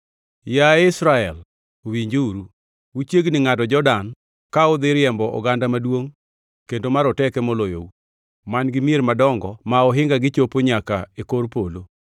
Yaye Israel, winjuru, uchiegni ngʼado Jordan ka udhi riembo oganda maduongʼ kendo maroteke moloyou, man-gi mier madongo ma ohingagi chopo nyaka e kor polo.